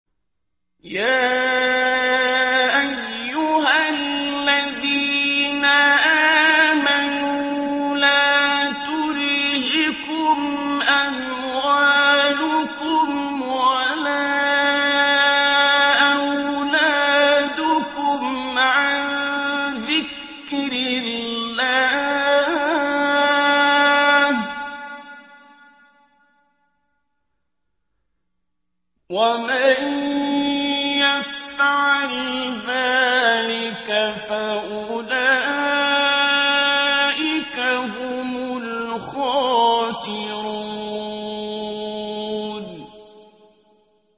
يَا أَيُّهَا الَّذِينَ آمَنُوا لَا تُلْهِكُمْ أَمْوَالُكُمْ وَلَا أَوْلَادُكُمْ عَن ذِكْرِ اللَّهِ ۚ وَمَن يَفْعَلْ ذَٰلِكَ فَأُولَٰئِكَ هُمُ الْخَاسِرُونَ